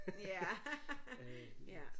Ja ja